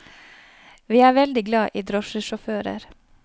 Vi er veldig glad i drosjesjåfører.